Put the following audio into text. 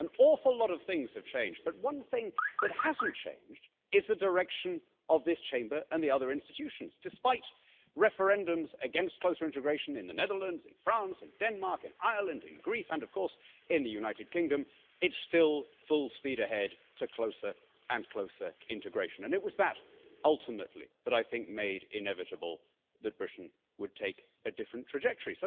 An awful lot of things have changed, but one thing that hasn't changed is the direction of this Chamber and the other institutions, despite referendums against closer integration in the Netherlands, in France, in Denmark, in Ireland, in Greece and of course in the United Kingdom, it's still full speed ahead to closer and closer integration and it was that ultimately that I think made inevitable that Britain would take a different trajectory.